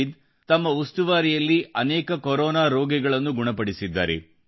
ನಾವೀದ್ ತಮ್ಮ ಉಸ್ತುವಾರಿಯಲ್ಲಿ ಅನೇಕ ಕೊರೋನಾ ರೋಗಿಗಳನ್ನು ಗುಣಪಡಿಸಿದ್ದಾರೆ